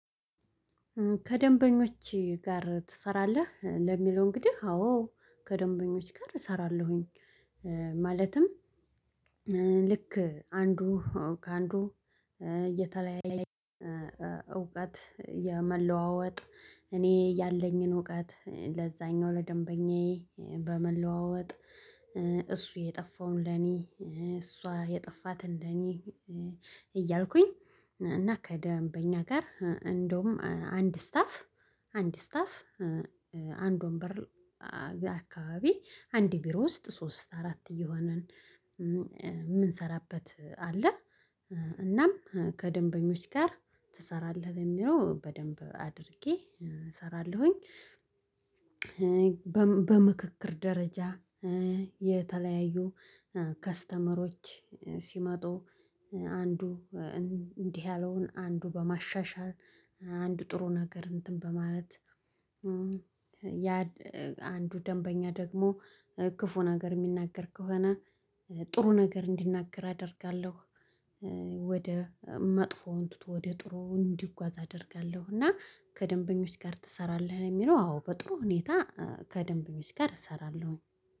ከደንበኞች ጋር ትሰራለህ? ለሚለው እንግዲህ አዎ ከደንበኞች ጋር እሰራለሁኝ። ማለትም ልክ አንዱ ከአንዱ የተለያየ እውቀት የመለዋወጥ እኔ ያለኝን እውቀት ለዛኛው ለደንበኛዬ በመለዋወጥ። እሱ የጠፋውን ለኔ እሷ የጠፋት እንደኔ እያልኩኝ። እና ከደንበኛ ጋር እንደውም አንድ ስታፍ አንድ ስታፍ አንድ ወንበር አካባቢ አንድ ቢሮ ውስጥ ሶስት አራት እየሆንን እምንሰራበት አለ። እናም ከደንበኞች ጋር ትሰራለህ የሚለው በደንብ አድርጌ እሰራለሁኝ። በምክክር ደረጃ የተለያዩ ከስተመሮች ሲመጡ አንዱ እንዲህ ያለውን አንዱ በማሻሻል አንዱ ጥሩ ነገር እንትን በማለት። ያ አንዱ ደንበኛ ደግሞ ክፉ ነገር የሚናገር ከሆነ ጥሩ ነገር እንዲናገር አደርጋለሁ። ወደ መጥፎውን ወደ ጥሩ እንዲጓዝ አደርጋለሁ። እና ከደንበኞች ጋር ትሰራለህ? ለሚለው አዎ በጥሩ ሁኔታ ከደንበኞች ጋር እሰራለሁኝ።